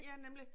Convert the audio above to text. Ja nemlig